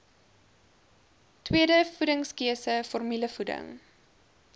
tweede voedingskeuse formulevoeding